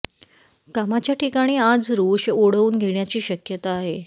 कामाच्या ठिकाणी आज रोष ओढवून घेण्याची शक्यता आहे